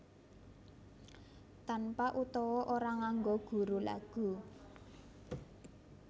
Tanpa utawa ora nganggo guru lagu